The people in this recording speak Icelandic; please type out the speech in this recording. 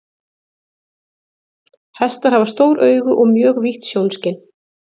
Hestar hafa stór augu og mjög vítt sjónskyn.